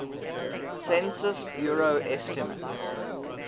census bureau estimates